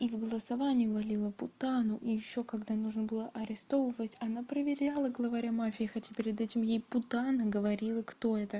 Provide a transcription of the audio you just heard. и в голосовании валила путану и ещё когда нужно было арестовывать она проверяла главаря мафии хотя перед этим ей путана говорила кто это